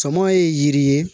Sama ye yiri ye